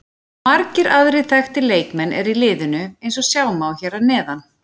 Margir aðrir þekktir leikmenn eru í liðinu eins og sjá má hér að neðan.